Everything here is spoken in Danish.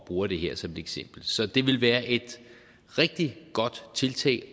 bruger det her som et eksempel så det ville være et rigtig godt tiltag